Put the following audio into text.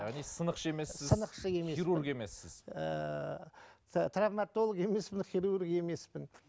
яғни сынықшы емессіз сынықшы емеспін хирург емессіз ыыы травматолог емеспін хирург емеспін